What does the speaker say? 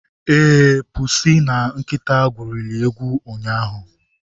Ee, pusi na nkịta egwurili egwu ụnyahụ.